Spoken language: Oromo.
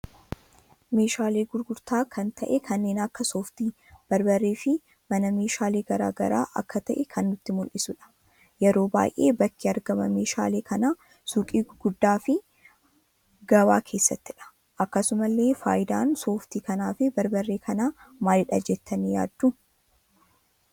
Meeshaalee gurgurta kan ta'e kanneen akka sooftii, barbaaree fi mana meeshaalee garaagaraa akka ta'e kan nutti muldhisuudha. Yeroo baay'ee bakki argaama meeshaalee kana suuqii gurgaaddaa fi gabaa keessattidha. Akkasumallee faayidaan sooftii kanaa fi barbaaree kana maaliidha jettani yaaddu?